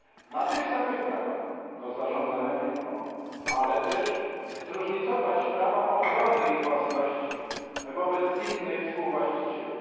na tych samych prawach do zarządzania firmą, ale też zróżnicować prawa ochrony ich własności wobec innych współwłaścicieli?